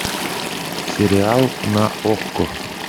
сериал на окко